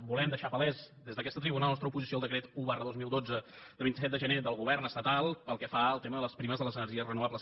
volem deixar palès des d’aquesta tribuna la nostra oposició al decret un dos mil dotze de vint set de gener del govern estatal pel que fa al tema de les primes de les energies renovables